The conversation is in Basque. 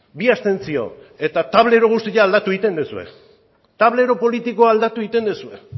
bi abstentzio eta tablero guztia aldatu egiten duzue tablero politikoa aldatu egiten duzue